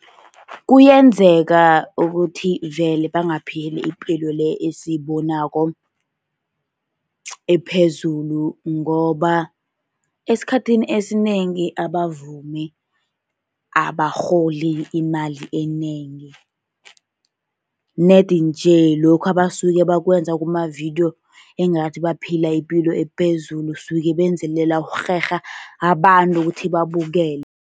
Kuyenzeka ukuthi vele bangaphili ipilo le esiyibonako ephezulu. Ngoba esikhathini esinengi abavumi abarholi imali enengi, nedi nje lokhu abasuke bakwenza kuma-video, engathi baphila ipilo ephezulu, suke benzelela ukurherha abantu ukuthi babukele.